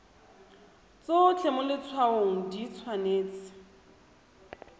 tsotlhe mo letshwaong di tshwanetse